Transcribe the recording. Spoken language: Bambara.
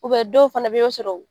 doɔw fana bɛ yen o sɔrɔ